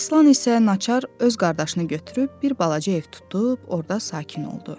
Aslan isə naçar öz qardaşını götürüb bir balaca ev tutub orda sakin oldu.